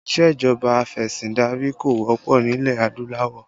Isejọba afesindari kò wọ́pọ̀ nílẹ̀ adúláwọ̀